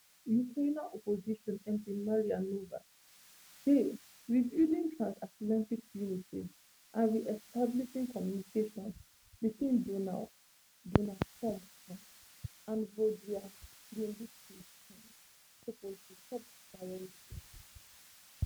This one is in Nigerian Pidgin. ukrainian opposition mp mariia ionova say rebuilding transatlantic unity and reestablishing communication between donald donald trump um and volodymyr zelensky um suppose be top priority